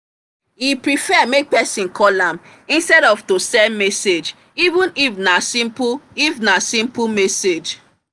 he prefer make person callam instead of to send message even if na simple if na simple message.